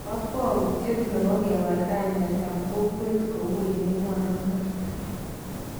Kokwoutyet nebo kewal kainetab kokwet kou eng emonoton